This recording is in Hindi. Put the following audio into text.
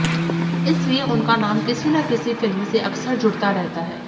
इसलिए उनका नाम किसी ना किसी फिल्म से अक्सर जुड़ता रहता है